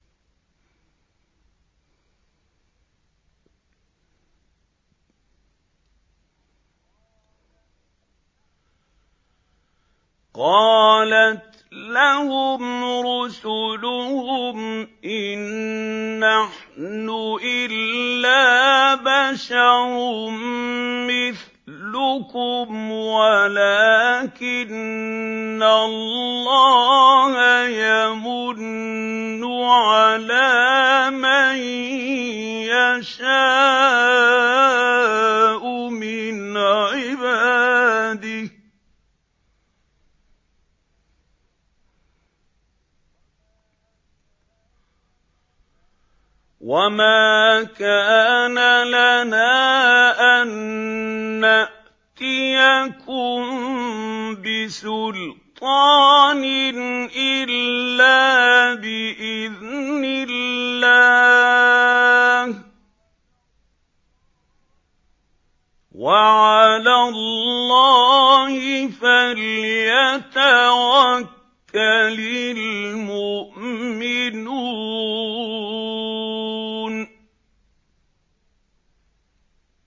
قَالَتْ لَهُمْ رُسُلُهُمْ إِن نَّحْنُ إِلَّا بَشَرٌ مِّثْلُكُمْ وَلَٰكِنَّ اللَّهَ يَمُنُّ عَلَىٰ مَن يَشَاءُ مِنْ عِبَادِهِ ۖ وَمَا كَانَ لَنَا أَن نَّأْتِيَكُم بِسُلْطَانٍ إِلَّا بِإِذْنِ اللَّهِ ۚ وَعَلَى اللَّهِ فَلْيَتَوَكَّلِ الْمُؤْمِنُونَ